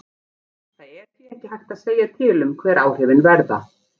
Það er því ekki hægt að segja til um hver áhrifin verða.